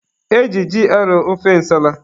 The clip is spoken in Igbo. E ji ji arọ ofe nsala.